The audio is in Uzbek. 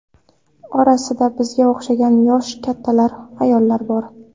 Orasida bizga o‘xshagan yoshi kattalar, ayollar bor.